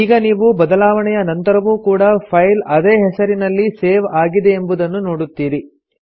ಈಗ ನೀವು ಬದಲಾವಣೆಯ ನಂತರವೂ ಕೂಡಾ ಫೈಲ್ ಅದೇ ಹೆಸರಿನಲ್ಲಿ ಸೇವ್ ಆಗಿದೆಯೆಂಬುದನ್ನು ನೋಡುತ್ತೀರಿ